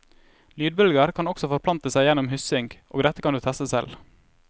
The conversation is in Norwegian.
Lydbølger kan også forplante seg gjennom hyssing, og dette kan du teste selv.